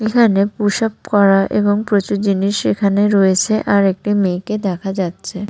এখানে push up করা এবং প্রচুর জিনিস এখানে রয়েছে আর একটি মেয়েকে দেখা যাচ্ছে।